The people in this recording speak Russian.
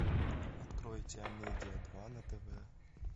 откройте амедиа два на тв